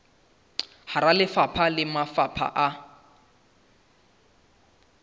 hara lefapha le mafapheng a